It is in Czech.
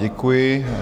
Děkuji.